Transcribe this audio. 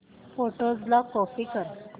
photos ला copy कर